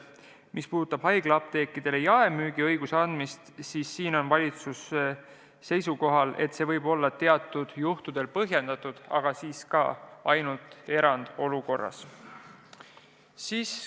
Mis puudutab haiglaapteekidele jaemüügiõiguse andmist, siis valitsus on seisukohal, et see võib olla teatud juhtudel põhjendatud, aga ainult erandolukorras.